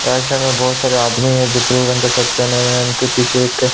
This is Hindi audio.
राईट साइड में बहोत सारे आदमी है जो ब्लू रंग का शर्ट पहने हुए है उनके पीछे एक--